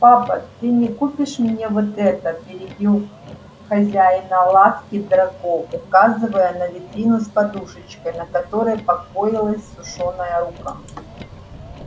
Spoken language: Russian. папа ты не купишь мне вот это перебил хозяина лавки драко указывая на витрину с подушечкой на которой покоилась сушёная рука